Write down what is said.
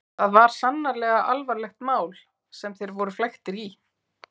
Það var sannarlega alvarlegt mál sem þeir voru flæktir í.